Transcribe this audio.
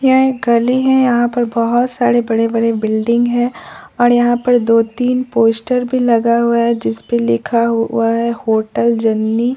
यह एक गली है यहां पर बहोत सारे बड़े बड़े बिल्डिंग है और यहां पर दो तीन पोस्टर भी लगा हुआ है जिस पे लिखा हुआ है की होटल जर्नी ।